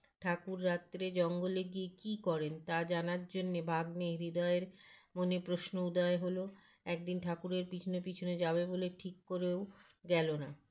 ঠাকুর রাত্রে জঙ্গলে গিয়ে কী করেন তা জানার জন্যে ভাগ্নে হৃদয়ের মনে প্রশ্ন উদয় হলো একদিন ঠাকুরের পিছনে পিছনে যাবে বলে ঠিক করেও গেল না